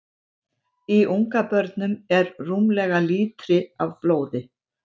Í ungabörnum er rúmlega lítri af blóði.